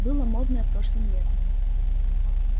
было модное прошлым летом